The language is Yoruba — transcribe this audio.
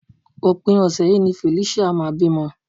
Òpin ọ̀sẹ̀ yìí ni Felicia máa bímọ